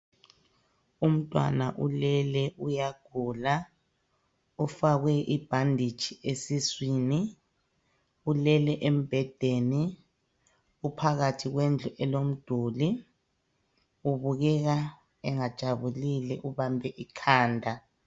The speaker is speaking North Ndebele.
Umntwana ulele uyagula ufakwe ibhanditshi esiswini ulele embedeni uphakathi kwendlu elomduli ubukeka engajabulile ubambe ikhanda